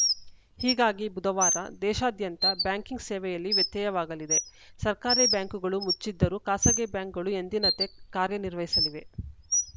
ಹೀಗಾಗಿ ಬುಧವಾರ ದೇಶಾದ್ಯಂತ ಬ್ಯಾಂಕಿಂಗ್‌ ಸೇವೆಯಲ್ಲಿ ವ್ಯತ್ಯಯವಾಗಲಿದೆ ಸರ್ಕಾರಿ ಬ್ಯಾಂಕ್‌ಗಳು ಮುಚ್ಚಿದ್ದರೂ ಖಾಸಗಿ ಬ್ಯಾಂಕ್‌ಗಳು ಎಂದಿನಂತೆ ಕಾರ್ಯ ನಿರ್ವಹಿಸಲಿವೆ